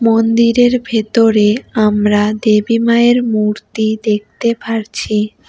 মন্দিরের ভেতরে আমরা দেবী মায়ের মূর্তি দেখতে পারছি।